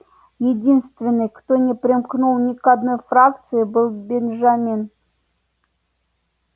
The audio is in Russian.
единственный кто не примкнул ни к одной фракции был бенджамин